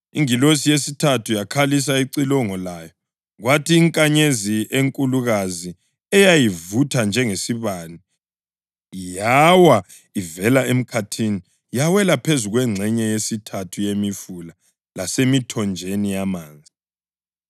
Ingilosi yesithathu yakhalisa icilongo layo, kwathi inkanyezi enkulukazi eyayivutha njengesibane yawa ivela emkhathini yawela phezu kwengxenye yesithathu yemifula lasemithonjeni yamanzi,